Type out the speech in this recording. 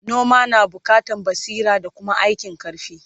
noma na buƙatan basira da Kuma aikin karfi